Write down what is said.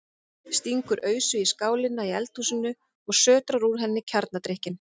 Stingur ausu í skálina í eldhúsinu og sötrar úr henni kjarnadrykkinn.